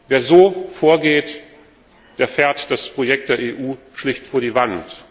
Wer so vorgeht, der fährt das Projekt der EU schlicht an die Wand!